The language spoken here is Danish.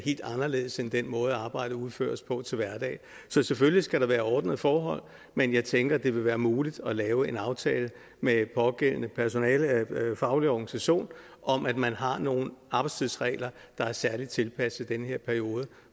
anderledes end den måde arbejdet udføres på til hverdag så selvfølgelig skal der være ordnede forhold men jeg tænker at det vil være muligt at lave en aftale med den pågældende personalefaglige organisation om at man har nogle arbejdstidsregler der er særligt tilpasset den her periode